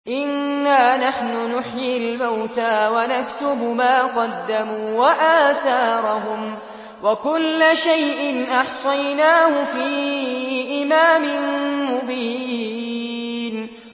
إِنَّا نَحْنُ نُحْيِي الْمَوْتَىٰ وَنَكْتُبُ مَا قَدَّمُوا وَآثَارَهُمْ ۚ وَكُلَّ شَيْءٍ أَحْصَيْنَاهُ فِي إِمَامٍ مُّبِينٍ